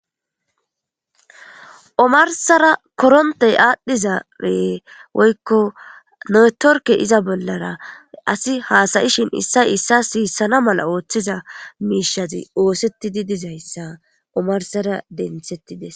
Omarsara koronte adhiza woyko networke iza bolara asi hasa'ishin isa isa sisana mala otiza mishzi osetidi dizaysa omarsara dentetides.